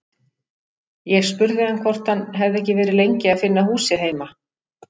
Ég spurði hann hvort hann hefði ekki verið lengi að finna húsið heima.